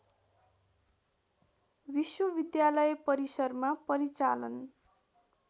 विश्वविद्यालय परिसरमा परिचालन